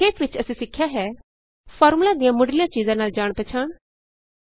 ਸੰਖੇਪ ਵਿਚ ਅਸੀਂ ਸਿੱਖਿਆ ਹੈ ਫਾਰਮੂਲਾ ਦੀਆਂ ਮੁੱਢਲੀਆਂ ਚੀਜਾਂ ਨਾਲ ਜਾਣ ਪਛਾਣ